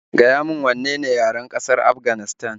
Gaya min wanne ne yaren ƙasar Afganistan